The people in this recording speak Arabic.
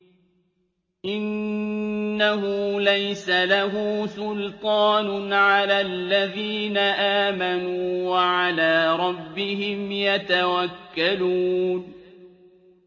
إِنَّهُ لَيْسَ لَهُ سُلْطَانٌ عَلَى الَّذِينَ آمَنُوا وَعَلَىٰ رَبِّهِمْ يَتَوَكَّلُونَ